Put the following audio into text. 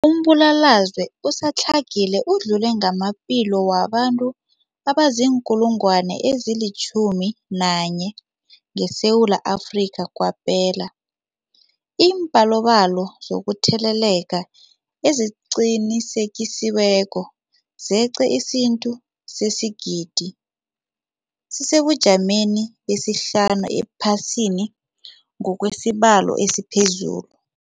Umbulalazwe usadlangile udlule namaphilo wabantu abaziinkulungwana ezi-11 ngeSewula Afrika kwaphela. Iimbalobalo zokutheleleka eziqinisekisiweko zeqe isiquntu sesigidi, sisesebujameni besihlanu ephasini ngokwesibalo esiphezulu.